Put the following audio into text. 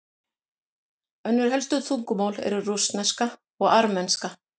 önnur helstu tungumál eru rússneska og armenska